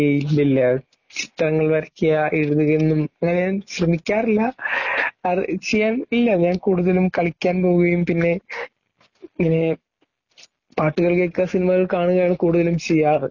ഏയ് .. ഇല്ലില്ല ചിത്രങ്ങൾ വരയ്ക്കുക എഴുതുക ഒന്നും അങ്ങനെയൊന്നും ശ്രമിക്കാറില്ലാ ചെയ്യാൻ ഇല്ല, ഞാൻ കൂടുതലും കളിയ്ക്കാൻ പോവുകയും പിന്നെ പിന്നെ പാട്ടുകൾ കേൾക്കുക സിനിമകൾ കാണുക ഇവയാണ് കൂടുതലും ചെയ്യാറ് .